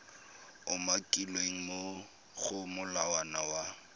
umakilweng mo go molawana wa